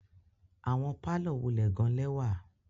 Awọn parlour wulẹ gan lẹwa